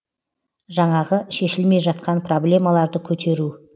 жаңағы шешілмей жатқан проблемаларды көтеру